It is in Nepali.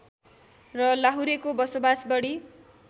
र लाहुरेको बसोबास बढी